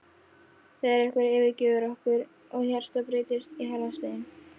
þegar einhver yfirgefur okkur og hjartað breytist í harðan stein.